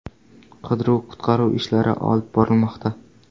Qidiruv-qutqaruv ishlari olib borilmoqda.